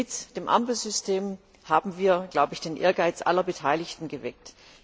Mit dem Ampelsystem haben wir den Ehrgeiz aller Beteiligten geweckt.